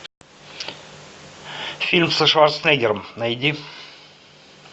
фильм со шварценеггером найди